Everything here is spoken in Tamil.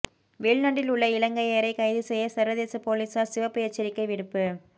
வெளிநாட்டில் உள்ள இலங்கையரை கைது செய்ய சர்வதேச பொலிஸார் சிவப்பு எச்சரிக்கை விடுப்பு